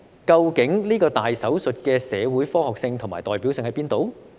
究竟這個"大手術"的社會科學性和代表性在哪裏？